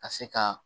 Ka se ka